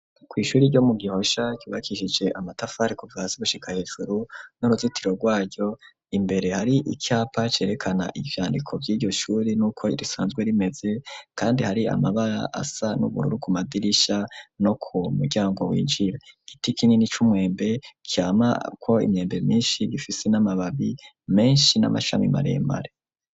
Kw'ishuri, ryo mu Gihosha, ryubakishije amatafari, kuva hasi, gushika hejuru, n'uruzitiro rwaryo; imbere hari icapa, cerekana ivyandiko, vy'iryo shuri, n'uko risanzwe rimeze; kandi hari amabara, asa n'ubururu, ku madirisha, no ku muryango winjira; igiti kinini c'umwembe, camako imyembe myinshi, gifise n'amababi menshi, n'amashami maremare.